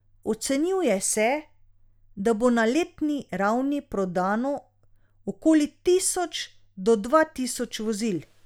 Ocenjuje se, da bo na letni ravni prodano okoli tisoč do dva tisoč vozil.